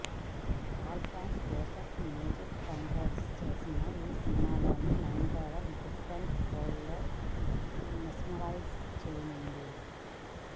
Alphonse Joseph music compose చేసిన ఈ సినిమాలో నయనతార డిఫెరెంట్ రోల్లో మెస్మరైజ్ చేయనుంది